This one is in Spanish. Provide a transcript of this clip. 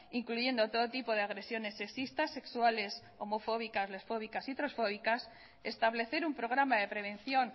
incluyendo todo tipo de agresiones sexistas sexuales homofóbicas lesfóbicas y transfóbicas establecer un programa de prevención